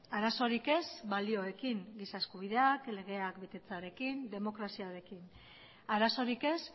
arazorik ez balioekin giza eskubideak legeak betetzearekin demokraziarekin arazorik ez